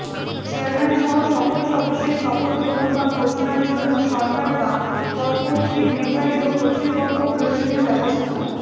চেয়ারম্যানসহ সকল সদস্যের শপথ গ্রহণ বা ঘোষণার জন্য সরকার বা তৎকর্তৃক নির্ধারিত কর্তৃপক্ষ প্রয়োজনীয় ব্যবস্থা